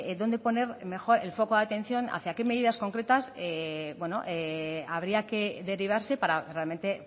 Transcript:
dónde poner el foco de atención hacia qué medidas concretas habría que derivarse para realmente